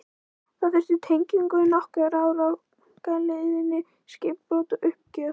Það þurfti tengingu, nokkur ár á galeiðunni, skipbrot, uppgjöf.